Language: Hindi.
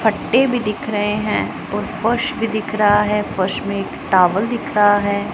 फट्टे भी दिख रहे हैं और फर्श भी दिख रहा है फर्श में टॉवेल दिख रहा है।